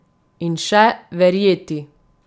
In še: 'Verjeti!